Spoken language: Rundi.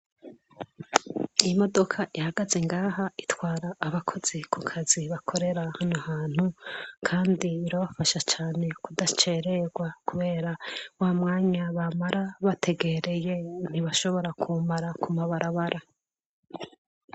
Iyi modoka ihagaze ngaha itwara abakozi kukazi bakorera hano hantu kandi irabafasha cane kudacererwa kubera wamwanya bamara bategereye ntibashobora kuwumara kw'ibarabara.